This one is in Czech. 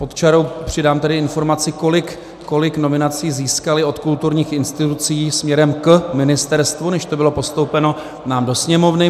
Pod čarou přidám tedy informaci, kolik nominací získali od kulturních institucí směrem k ministerstvu, než to bylo postoupeno nám do Sněmovny.